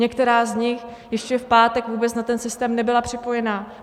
Některá z nich ještě v pátek vůbec na ten systém nebyla připojena.